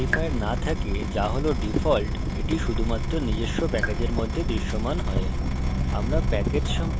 যদি class কোনো modifier no থাকে যা has default এটি শুধুমাত্র নিজস্ব প্যাকেজের মধ্যে দৃশ্যমান has